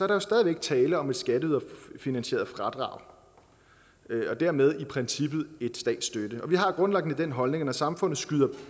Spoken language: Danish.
der stadig væk tale om et skatteyderfinansieret fradrag og dermed i princippet en slags statsstøtte vi har grundlæggende den holdning at når samfundet skyder